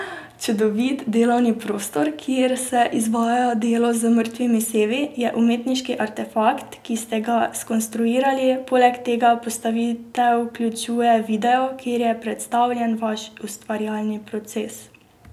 Čudovit delovni prostor, kjer se izvaja delo z mrtvimi sevi, je umetniški artefakt, ki ste ga skonstruirali, poleg tega postavitev vključuje video, kjer je predstavljen vaš ustvarjalni proces.